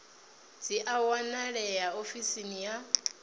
dzi a wanalea ofisini ya